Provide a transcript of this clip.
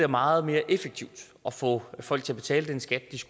meget mere effektivt at få folk til at betale den skat